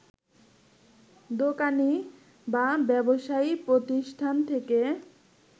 দোকানী বা ব্যবসায়ী প্রতিষ্ঠান থেকে